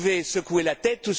ah, vous pouvez secouer la